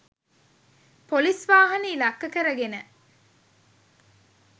Police වාහන ඉලක්ක කර ගෙන.